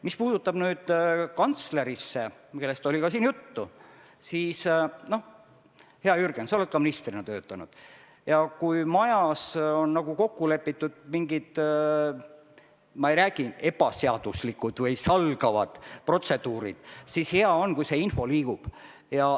Mis puudutab kantslerit, kellest siin ka juttu oli, siis, hea Jürgen, sa oled ka ise ministrina töötanud ja tead, et kui majas on kokku lepitud mingid – ma ei räägi, et ebaseaduslikud või salgavad – protseduurid, siis on hea, kui see info liigub.